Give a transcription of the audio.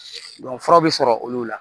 fura bɛ sɔrɔ olu la